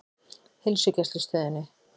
Heilsugæslustöðinni